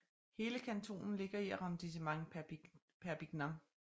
Hele kantonen ligger i Arrondissement Perpignan